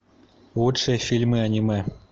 лучшие фильмы аниме